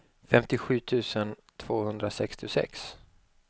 femtiosju tusen tvåhundrasextiosex